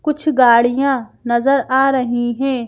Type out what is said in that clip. कुछ गाड़ियाँ नजर आ रही हैं।